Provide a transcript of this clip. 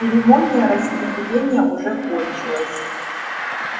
церемония распределения уже кончилась